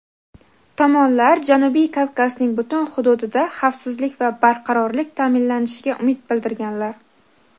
Tomonlar Janubiy Kavkazning butun hududida xavfsizlik va barqarorlik ta’minlanishiga umid bildirganlar.